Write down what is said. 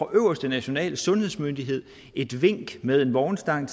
øverste nationale sundhedsmyndighed et vink med en vognstang